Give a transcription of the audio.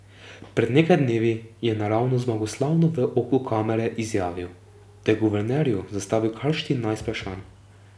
Pred nekaj dnevi je naravnost zmagoslavno v oko kamere izjavil, da je guvernerju zastavil kar štirinajst vprašanj.